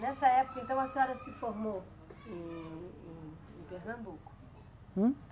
Nessa época, então, a senhora se formou em, em, em Pernambuco. Hum?